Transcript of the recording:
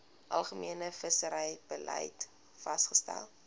algemene visserybeleid vasgestel